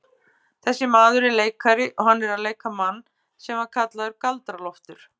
Þessi maður er leikari og hann er að leika mann sem var kallaður Galdra-Loftur.